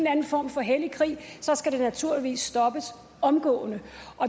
anden form for hellig krig skal det naturligvis stoppes omgående